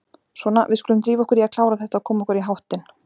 Svona, við skulum drífa okkur í að klára þetta og koma okkur í háttinn.